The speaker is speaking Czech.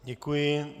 Děkuji.